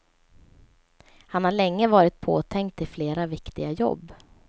Han har länge varit påtänkt till flera viktiga jobb.